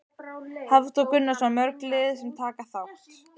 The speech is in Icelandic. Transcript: Hafþór Gunnarsson: Mörg lið sem taka þátt?